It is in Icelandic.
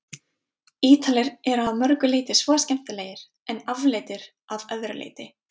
Ítalir eru að mörgu leyti svo skemmtilegir- en afleitir að öðru leyti.